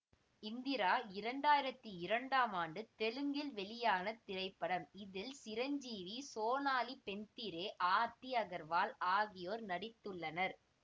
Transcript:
இந்திரா இரண்டு ஆயிரத்தி இரண்டாம் ஆண்டு தெலுங்கில் வெளியான திரைப்படம் இதில் சிரஞ்சீவி சோனாலி பேந்திரே ஆர்த்தி அகர்வால் ஆகியோர் நடித்துள்ளனர்